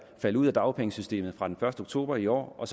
falde ud af dagpengesystemet fra den første oktober i år og